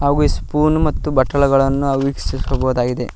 ಹಾಗು ಈ ಸ್ಪೂನ್ ಮತ್ತು ಬಟ್ಟಲುಗಳನ್ನು ನಾವು ವೀಕ್ಷಿಸಬಹುದಾಗಿದೆ.